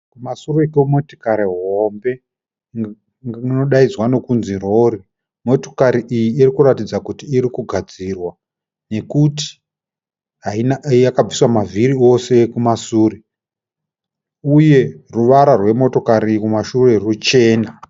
Kumashure kwemotokari hombe. Inodaidzwa nokunzi rori. Motokari iyi irikuratidza kuti irikugadzirwa nekuti yakabviswa mavhiri ose ekumashure. Uye ruvara rwemotokari iyi kumashure ichena.